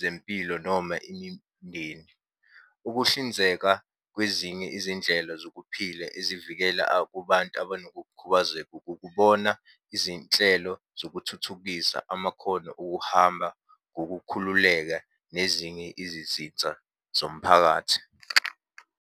zempilo noma imindeni. Ukuhlinzeka kwezinye izindlela zokuphila ezivikela kubantu abanokukhubazeka ukukubona izinhlelo zokuthuthukisa amakhono okuhamba ngokukhululeka nezinye izizitsa zomphakathi.